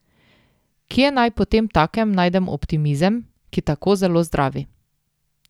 Kje naj potemtakem najdem optimizem, ki tako zelo zdravi?